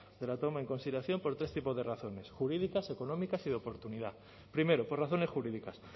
de la toma en consideración por tres tipos de razones jurídicas económicas y de oportunidad primero por razones jurídicas